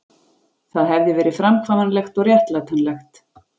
Það hefði verið framkvæmanlegt og réttlætanlegt